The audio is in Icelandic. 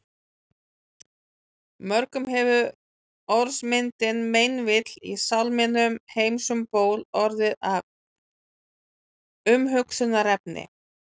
Mörgum hefur orðmyndin meinvill í sálminum Heims um ból orðið að umhugsunarefni.